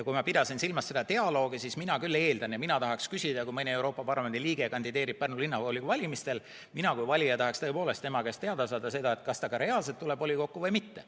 Kui ma pidasin silmas dialoogi, siis mina küll eeldan, et kui mõni Euroopa Parlamendi liige kandideerib Pärnu Linnavolikogu valimistel, siis mina kui valija tahaksin tõepoolest tema käest teada saada, kas ta ka reaalselt tuleb volikokku või mitte.